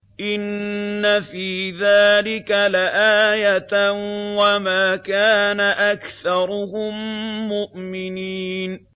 إِنَّ فِي ذَٰلِكَ لَآيَةً ۖ وَمَا كَانَ أَكْثَرُهُم مُّؤْمِنِينَ